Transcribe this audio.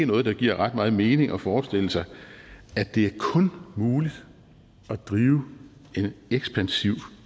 noget der giver ret meget mening at forestille sig at det kun muligt at drive en ekspansiv